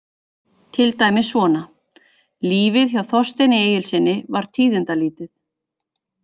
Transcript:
Til dæmis svona: Lífið hjá Þorsteini Egilssyni var tíðindalítið.